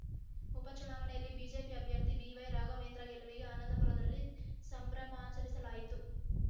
ಉಪಚುನಾವಣೆಯಲ್ಲಿ ಬಿಜೆಪಿ ಅಭ್ಯರ್ಥಿ ಬಿವೈ ರಾಘವೇಂದ್ರ ಗೆಲವಿಗೆ ಆನಂದಪುರದಲ್ಲಿ ಸಂಭ್ರಮಾಚರಿಸಲಾಯಿತು